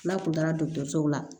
N'a kun taara dɔgɔtɔrɔso la